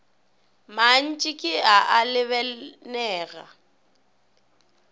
mantši ke a a lebanego